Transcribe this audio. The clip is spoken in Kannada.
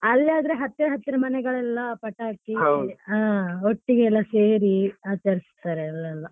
ಅಲ್ಲಿ ಆದ್ರೆ ಹತ್ತಿರ ಹತ್ತಿರ ಮನೆಗಳೆಲ್ಲ ಪಟಾಕಿ ಅಹ್ ಒಟ್ಟಿಗೆ ಎಲ್ಲ ಸೇರಿ ಆಚರಿಸ್ತಾರೆ ಅಲ್ಲೆಲ್ಲ.